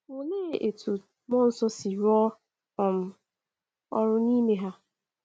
Oléé etú mmụọ nsọ si rụọ um ọrụ n’ime ha?